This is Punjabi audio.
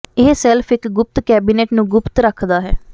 ਇਹ ਸੈਲਫ ਇਕ ਗੁਪਤ ਕੈਬਨਿਟ ਨੂੰ ਗੁਪਤ ਰੱਖਦਾ ਹੈ